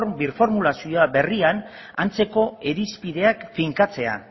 birformulazio berrian antzeko irizpideak finkatzea